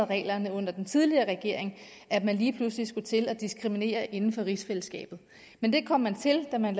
reglerne under den tidligere regering blev at man lige pludselig skulle til at diskriminere inden for rigsfællesskabet men det kom man til da man